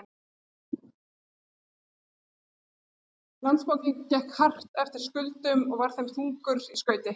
Landsbankinn gekk hart eftir skuldum og var þeim þungur í skauti.